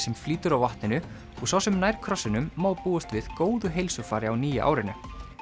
sem flýtur á vatninu og sá sem nær krossinum má búast við góðu heilsufari á nýja árinu